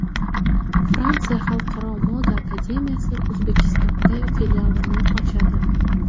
Fransiya xalqaro moda akademiyasi O‘zbekistonda filialini ochadi.